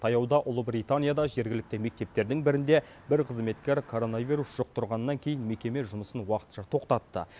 таяуда ұлыбританияда жергілікті мектептердің бірінде бір қызметкер коронавирус жұқтырғаннан кейін мекеме жұмысын уақытша тоқтатты